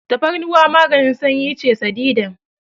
Tafarnuwa maganin sanyi ce sadidan.